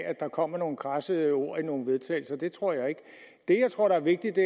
at der kommer nogle krasse ord i nogle vedtagelse det tror jeg ikke det jeg tror er vigtigt og